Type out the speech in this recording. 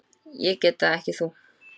Ég get það, ekki þú.